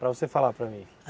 Para você falar para mim.